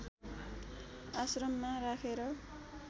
आश्रममा राखेर